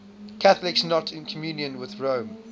catholics not in communion with rome